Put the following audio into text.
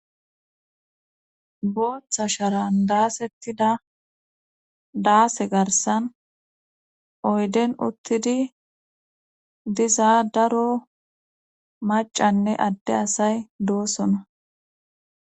Booththa sharan daasettida daase garsan oyden uttidi diza daro macanne adde asay doosona.